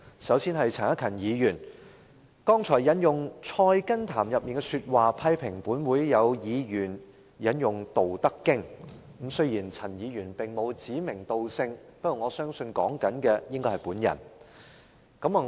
首先，是陳克勤議員，他剛才引用《菜根譚》的說話批評本會有議員引用《道德經》，雖然陳議員並沒有指名道姓，但我相信他說的應該是我。